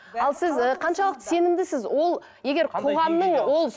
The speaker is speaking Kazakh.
ал сіз і қаншалықты сенімдісіз ол егер қоғамның ол